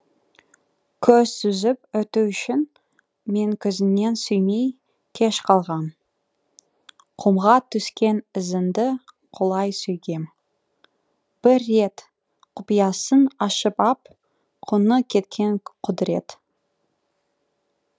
көз сүзіп өту үшін менкөзіңнен сүймей кеш қалғам құмға түскен ізіңді құлай сүйгем бір ретқұпиясын ашып ап құны кеткен құдірет